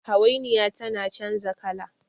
hawainiya tana canja kala